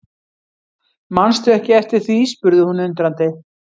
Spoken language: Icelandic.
Mannstu ekki eftir því spurði hún undrandi.